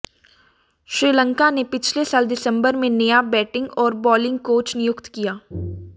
श्रीलंका ने पिछले साल दिसंबर में नया बैटिंग और बॉलिंग कोच नियुक्त किया